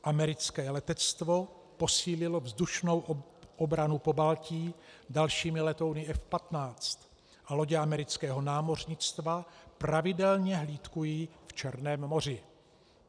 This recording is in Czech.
Americké letectvo posílilo vzdušnou obranu Pobaltí dalšími letouny F-15 a lodě amerického námořnictva pravidelně hlídkují v Černém moři.